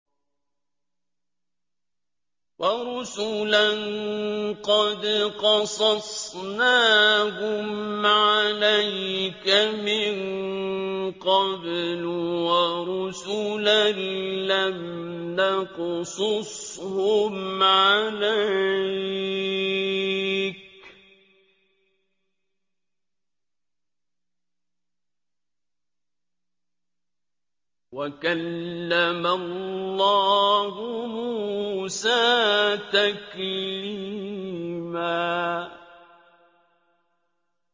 وَرُسُلًا قَدْ قَصَصْنَاهُمْ عَلَيْكَ مِن قَبْلُ وَرُسُلًا لَّمْ نَقْصُصْهُمْ عَلَيْكَ ۚ وَكَلَّمَ اللَّهُ مُوسَىٰ تَكْلِيمًا